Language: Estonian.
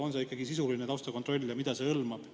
On see sisuline taustakontroll ja mida see hõlmab?